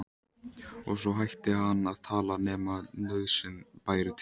Og svo hætti hann að tala nema nauðsyn bæri til.